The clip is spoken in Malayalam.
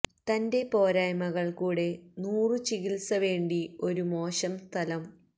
തന്റെ പോരായ്മകൾ കൂടെ നൂറു ചികിത്സ വേണ്ടി ഒരു മോശം സ്ഥലം